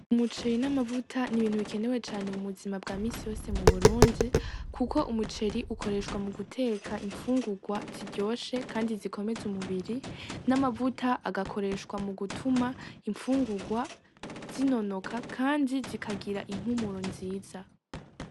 Umuceri n'amavuta ni ibintu bikenewe cane mu buzima bwa minsi yose mu Burundi, kuko umuceri ukoreshwa mu guteka imfungurwa ziryoshe kandi zikomeza umubiri. N'amavuta agakoreshwa mu gutuma imfungurwa zinonoka kandi zikagira impumuro nziza.